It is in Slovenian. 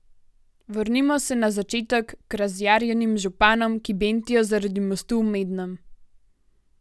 Vrnimo se na začetek k razjarjenim županom, ki bentijo zaradi mostu v Mednem.